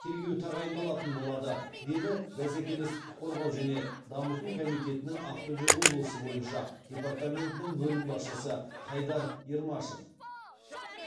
тергеу тағайындалатын болады деді бәсекелестікті қорғау және дамыту комитетінің ақтөбе облысы бойынша департаментінің бөлім басшысы хайдар ермашев